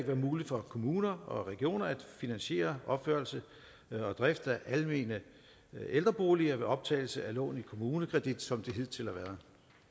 være muligt for kommuner og regioner at finansiere opførelse og drift af almene ældreboliger ved optagelse af lån i kommunekredit som det hidtil har været